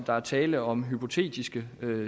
der er tale om hypotetiske